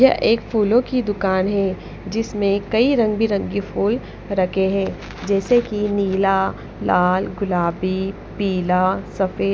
यह एक फूलों की दुकान है जिसमें कई रंग बिरंगी फूल रखे हैं जैसे कि नीला लाल गुलाबी पीला सफेद--